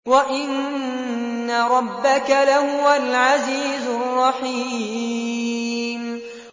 وَإِنَّ رَبَّكَ لَهُوَ الْعَزِيزُ الرَّحِيمُ